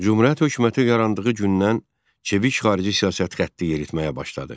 Cümhuriyyət hökuməti yarandığı gündən çevik xarici siyasət xətti yeritməyə başladı.